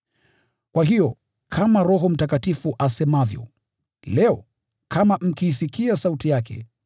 Kwa hiyo, kama Roho Mtakatifu asemavyo: “Leo, kama mkiisikia sauti yake,